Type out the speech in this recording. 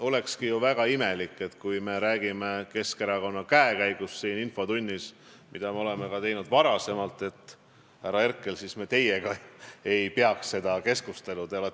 Olekski ju väga imelik, et kui me räägime Keskerakonna käekäigust siin infotunnis – mida me oleme teinud ka varem –, siis me, härra Herkel, teiega seda keskustelu ei peaks.